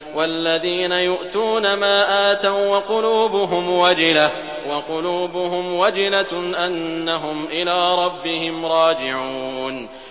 وَالَّذِينَ يُؤْتُونَ مَا آتَوا وَّقُلُوبُهُمْ وَجِلَةٌ أَنَّهُمْ إِلَىٰ رَبِّهِمْ رَاجِعُونَ